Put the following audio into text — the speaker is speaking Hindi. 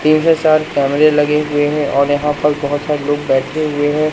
के साथ कैमरे लगे हुए हैं और यहां पर बहुत सारे लोग बैठे हुए हैं।